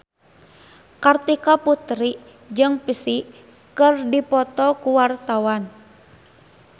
Kartika Putri jeung Psy keur dipoto ku wartawan